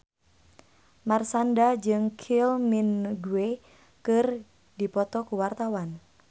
Marshanda jeung Kylie Minogue keur dipoto ku wartawan